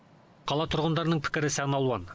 қала тұрғындарының пікірі сан алуан